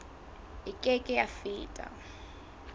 e ke ke ya feta